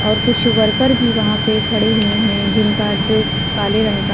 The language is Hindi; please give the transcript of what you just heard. और कुछ वर्कर भी वहां पर खड़े हुए हैं जिनका ड्रेस काले रंग का --